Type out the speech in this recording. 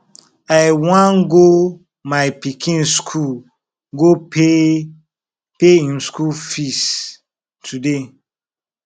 i wan go my pikin school go pay pay im school fees today